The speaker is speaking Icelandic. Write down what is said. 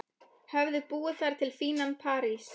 Höfðu búið þar til fínan parís.